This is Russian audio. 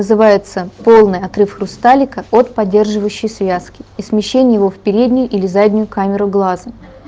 называется полный отрыв хрусталика от поддерживающей связки и смещение в переднюю или заднюю камеру глаза